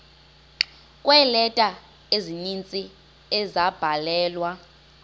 kweeleta ezininzi ezabhalelwa